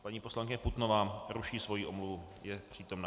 Paní poslankyně Putnová ruší svoji omluvu, je přítomna.